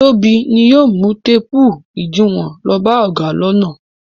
Tóbi ni yóò mú téépù ìdiwọn lọ bá ọ̀gá lọ́nà.